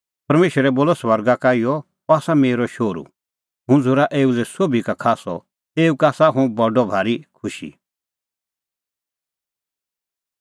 परमेशरै बोलअ स्वर्गा का इहअ अह आसा मेरअ शोहरू हुंह झ़ूरा एऊ लै सोभी का खास्सअ एऊ का आसा हुंह बडअ भारी खुशी